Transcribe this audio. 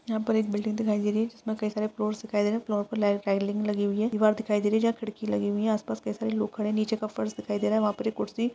यहाँ पर एक बिल्डिंग दिखाई दे रही है जिसमें कई सारे फ़्लोर्स दिखाई दे रहे हैं। फ़्लोर्स पर लगी हुई है। दीवार दिखाई दे रही हैं जहाँ खिड़की लगी हुई हैं। आस-पास कई सारे लोग खड़े हैं। नीचे का फर्श दिखाई दे रहा है वहाँ पर एक कुर्सी --